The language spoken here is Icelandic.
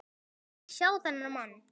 Hún vill ekki sjá þennan mann.